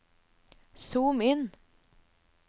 zoom inn